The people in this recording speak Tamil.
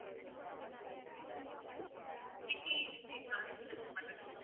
car insurance பண்றதுன்னு